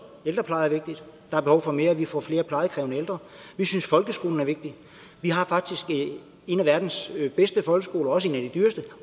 ældrepleje er vigtigt der er behov for mere for vi får flere plejekrævende ældre vi synes folkeskolen er vigtig vi har faktisk en af verdens bedste folkeskoler også en af de dyreste